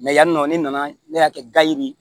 yani nɔ ne nana ne y'a kɛ gari ye